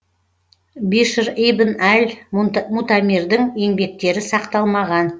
бишр ибн әл мутамирдің еңбектері сақталмаған